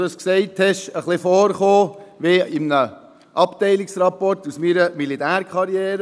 Als du das gesagt hast, kam ich mir ein wenig vor wie in einem Abteilungsrapport aus meiner Militärkarriere.